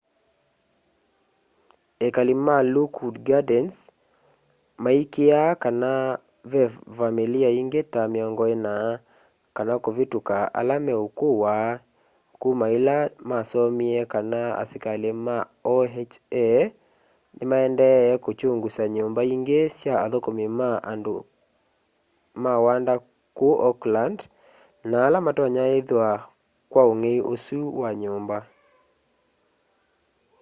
ekali ma lockwood gardens maikîîaa kana ve vamîlî ingî ta 40 kana kûvîtûka ala meûkûwa kuma îla masomie kana asikalî ma oha nîmaendee kûkyungusa nyûmba ingî sya athûkûmi ma wanda kûu oakland na ala matonya ithwa kwa ûngei ûsu wa nyûmba